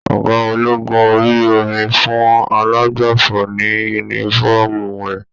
Ọgá ológun orí omi fún alàgbàfọ ní yúnífọ̀ọ́mù rẹ.